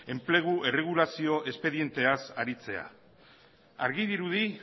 enplegu erregulazio espedienteaz aritzea argi dirudi